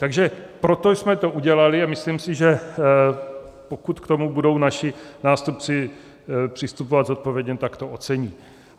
Takže proto jsme to udělali a myslím si, že pokud k tomu budou naši nástupci přistupovat zodpovědně, tak to ocení.